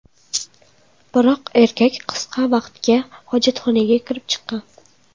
Biroq erkak qisqa vaqtga hojatxonaga kirib chiqqan.